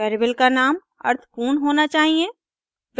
variable का नाम अर्थपूर्ण होना चाहिए